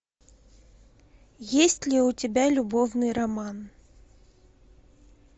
есть ли у тебя любовный роман